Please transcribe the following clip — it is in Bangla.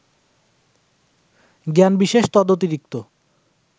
জ্ঞানবিশেষ; তদতিরিক্ত